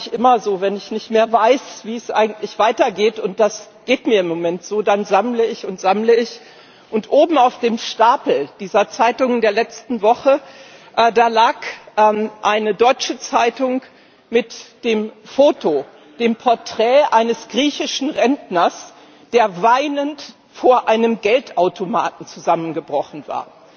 Das mache ich immer so, wenn ich nicht mehr weiß, wie es eigentlich weitergeht und das geht mir im Moment so dann sammle ich und sammle ich. Und oben auf dem Stapel dieser Zeitungen der letzten Woche lag eine deutsche Zeitung mit dem Foto, dem Porträt eines griechischen Rentners, der weinend vor einem Geldautomaten zusammengebrochen war.